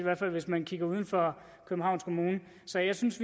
hvert fald hvis man kigger uden for københavns kommune så jeg synes